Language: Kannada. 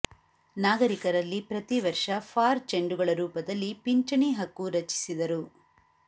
ನಾಗರಿಕ ನಲ್ಲಿ ಪ್ರತಿವರ್ಷ ಫಾರ್ ಚೆಂಡುಗಳ ರೂಪದಲ್ಲಿ ಪಿಂಚಣಿ ಹಕ್ಕು ರಚಿಸಿದರು